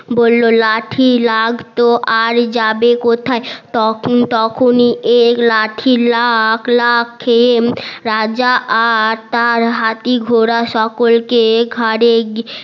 বললো লাঠি লাগতো আর যাবে কোথায় তখন তখনই এর লাঠি রাজা আর তার হাতি ঘোরা সকলকে ঘারে